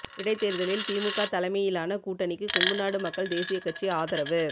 இடைத்தேர்தலில் திமுக தலைமையிலான கூட்டணிக்கு கொங்குநாடு மக்கள் தேசிய கட்சி ஆதரவு